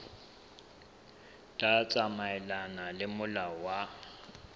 tla tsamaelana le molao wa